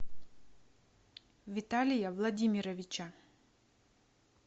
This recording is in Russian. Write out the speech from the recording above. виталия владимировича